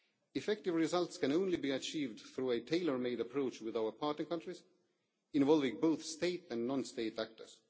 key. Effective results can only be achieved through a tailor made approach with our partner countries, involving both state and non state actors.